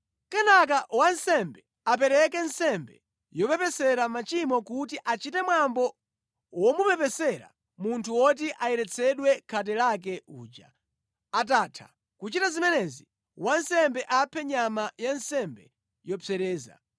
“Kenaka wansembe apereke nsembe yopepesera machimo kuti achite mwambo womupepesera munthu woti ayeretsedwe khate lake uja. Atatha kuchita zimenezi, wansembe aphe nyama ya nsembe yopsereza